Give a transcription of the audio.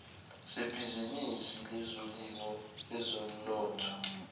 sebhizinisi lezolimo ezomnotho